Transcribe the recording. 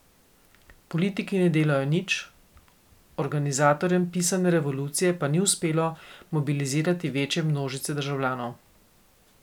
Politiki ne delajo nič, organizatorjem pisane revolucije pa ni uspelo mobilizirati večje množice državljanov.